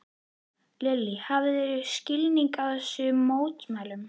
Lillý: Hafðirðu skilning á þessum mótmælum?